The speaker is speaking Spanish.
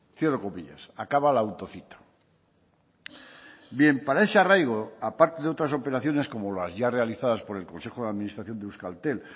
cierro comillas acaba la autocita bien para ese arraigo aparte de otras operaciones como las ya realizadas por el consejo de administración de euskaltel